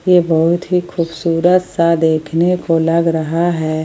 ये बहुत ही खूबसूरत सा देखने को लग रहा है।